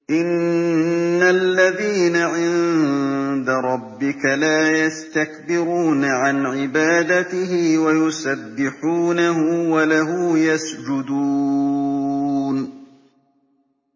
إِنَّ الَّذِينَ عِندَ رَبِّكَ لَا يَسْتَكْبِرُونَ عَنْ عِبَادَتِهِ وَيُسَبِّحُونَهُ وَلَهُ يَسْجُدُونَ ۩